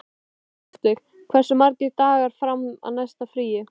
Loftveig, hversu margir dagar fram að næsta fríi?